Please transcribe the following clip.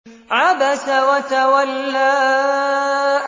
عَبَسَ وَتَوَلَّىٰ